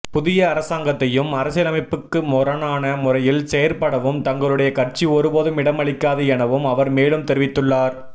புதிய அரசாங்கத்தையும் அரசியலமைப்புக்கு முரணான முறையில் செயற்படவும் தங்களுடைய கட்சி ஒருபோதும் இடமளிக்காது எனவும் அவர் மேலும் தெரிவித்துள்ளார்